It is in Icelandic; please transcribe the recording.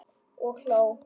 Og hló.